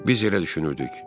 Biz elə düşünürdük.